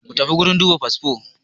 Mutafi wurin duba fasfo